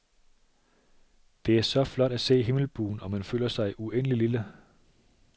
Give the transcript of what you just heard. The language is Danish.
Det er så flot at se himmelbuen, og man føler sig så uendelig lille.